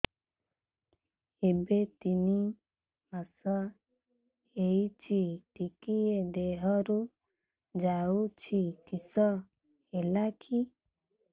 ଏବେ ତିନ୍ ମାସ ହେଇଛି ଟିକିଏ ଦିହରୁ ଯାଉଛି କିଶ ହେଲାକି